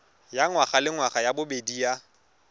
ya ngwagalengwaga ya bobedi ya